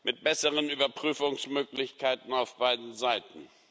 mit besseren Überprüfungsmöglichkeiten auf beiden Seiten.